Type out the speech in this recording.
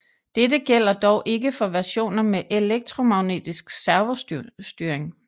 Dette gælder dog ikke for versioner med elektromagnetisk servostyring